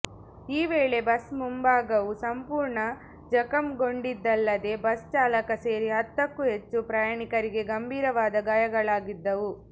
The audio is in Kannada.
ಈ ವೇಳೆ ಬಸ್ ಮುಂಭಾಗವು ಸಂಪೂರ್ಣ ಜಖಂಗೊಂಡಿದ್ದಲ್ಲದೇ ಬಸ್ ಚಾಲಕ ಸೇರಿ ಹತ್ತಕ್ಕೂ ಹೆಚ್ಚು ಪ್ರಯಾಣಿಕರಿಗೆ ಗಂಭೀರವಾದ ಗಾಯಗಳಾಗಿದ್ದವು